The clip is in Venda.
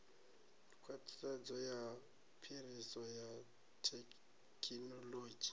khwaṱhisedzo ya phiriso ya thekinolodzhi